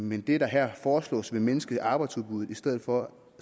men det der her foreslås vil mindske arbejdsudbuddet i stedet for